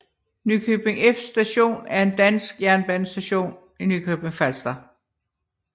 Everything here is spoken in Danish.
Nykøbing F Station er en dansk jernbanestation i Nykøbing Falster